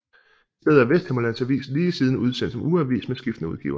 I stedet er Vesthimmerlands Avis lige siden udsendt som ugeavis med skiftende udgivere